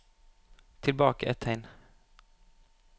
Tilbake ett tegn